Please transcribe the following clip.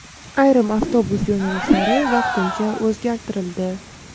ayrim avtobus yo‘nalishlari vaqtincha o‘zgartirildi.